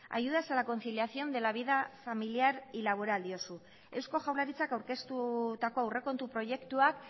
ayudas a la conciliación de la vida familiar y laboral diozu eusko jaurlaritzak aurkeztutako aurrekontu proiektuak